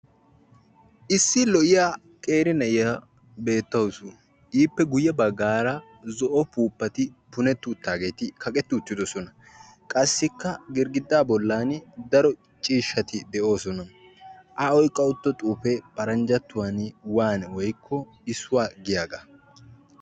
Issi lo"iyaa qeeri na'iyaa beettawus. Ippe guyye baggaara zo'o upuppati punetri uttaageti kaqqeti uttidoosona. Qassikka girggida bollan daro ciishshati de'oosona. A oyqqa utta xuufe paranjjatuwan 'one' woykko issuwaa giyaaga.